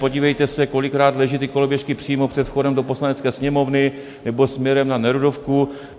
Podívejte se, kolikrát leží ty koloběžky přímo před vchodem do Poslanecké sněmovny nebo směrem na Nerudovku.